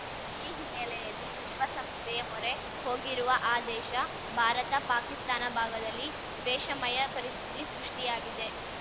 ಈ ಹಿನ್ನೆಲೆಯಲ್ಲಿ ವಿಶ್ವಸಂಸ್ಥೆಯ ಮೊರೆ ಹೋಗಿರುವ ಆ ದೇಶ ಭಾರತ ಪಾಕಿಸ್ತಾನ ಭಾಗದಲ್ಲಿ ತ್ವೇಷಮಯ ಪರಿಸ್ಥಿತಿ ಸೃಷ್ಟಿಯಾಗಿದೆ